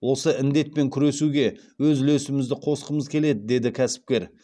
осы індетпен күресуге өз үлесімізді қосқымыз келеді деді кәсіпкер